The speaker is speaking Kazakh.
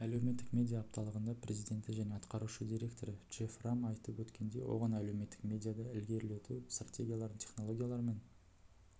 әлеуметтік медиа апталығында президенті және атқарушы директоры джефф рам айтып өткендей оған әлеуметтік медиада ілгерілету стратегияларын технологияларымен